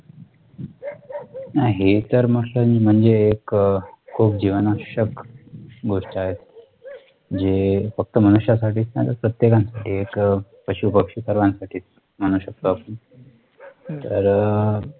नाही तर मग म्हणजे तर एक खूप जीवनावशक गोष्ट आहे जे फक्त मनुष्या साठी नाहीतर प्रत्येक साठी आहे एक पशुपक्षी सर्वांसाठी म्हणू शकतो आपण तर अ